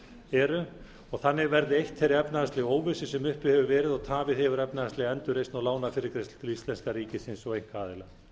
eru og þannig verði eytt þeirri efnahagslegu óvissu sem uppi hefur verið og tafið hefur efnahagslega endurreisn og lánafyrirgreiðslur til íslenska ríkisins og einkaaðila